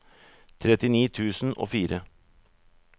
trettini tusen og fire